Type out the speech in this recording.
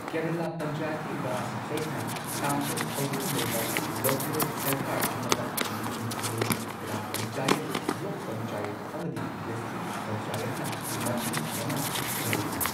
ꯀꯦꯔꯂꯥ ꯄꯟꯆꯥꯌꯇꯤ ꯔꯥꯖ ꯑꯦꯛꯅ ꯇꯥꯡꯀꯛ ꯑꯍꯨꯝ ꯂꯩꯕ ꯂꯣꯀꯦꯜ ꯁꯔꯀꯥꯔ ꯑꯃꯗ ꯃꯤꯠꯌꯦꯡ ꯊꯝꯃꯤ, ꯒ꯭ꯔꯥꯝ ꯄꯟꯆꯥꯌꯠꯅ, ꯕ꯭ꯂꯣꯛ ꯄꯟꯆꯥꯌꯠ, ꯑꯃꯗꯤ ꯗꯤꯁꯇ꯭ꯔꯤꯛ ꯄꯟꯆꯥꯌꯠꯅꯥ ꯃꯊꯪ ꯃꯅꯥꯎ ꯁꯦꯝꯂꯗꯨꯅ꯫